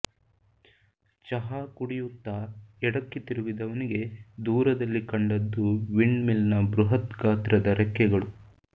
ಚಹಾ ಕುಡಿಯುತ್ತಾ ಎಡಕ್ಕೆ ತಿರುಗಿದವನಿಗೆ ದೂರದಲ್ಲಿ ಕಂಡದ್ದು ವಿಂಡ್ ಮಿಲ್ನ ಬೃಹತ್ ಗಾತ್ರದ ರೆಕ್ಕೆಗಳು